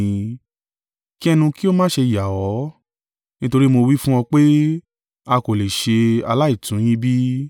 Kí ẹnu kí ó má ṣe yà ọ́, nítorí mo wí fún ọ pé, ‘A kò lè ṣe aláìtún yín bí.’